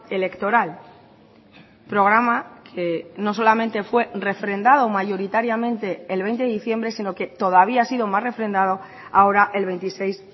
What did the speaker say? electoral programa que no solamente fue refrendado mayoritariamente el veinte de diciembre sino que todavía ha sido más refrendado ahora el veintiséis